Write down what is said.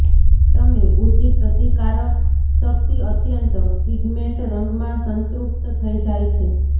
તમે ઊંચી પ્રતિકારશક્તિ અત્યંત પિગમેન્ટ રંગમાં સંતૃપ્ત થઈ જાય છે